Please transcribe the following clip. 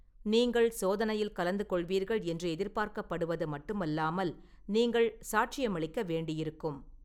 நீங்கள் சோதனையில் கலந்து கொள்வீர்கள் என்று எதிர்பார்க்கப்படுவது மட்டுமல்லாமல், நீங்கள் சாட்சியமளிக்க வேண்டியிருக்கும்.